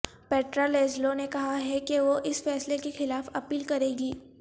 Petra Laszlo نے کہا ہے کہ وہ اس فیصلے کے خلاف اپیل کریں گی